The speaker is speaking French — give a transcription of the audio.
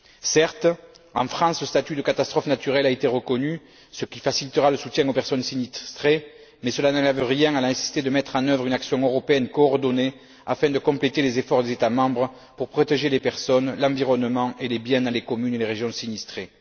Certes, en France, le statut de catastrophe naturelle a été reconnu, ce qui facilitera le soutien aux personnes sinistrées, mais cela n'enlève rien à la nécessité de mettre en œuvre une action européenne coordonnée, afin de compléter les efforts des États membres pour protéger les personnes, l'environnement et les biens dans les communes et les régions sinistrées.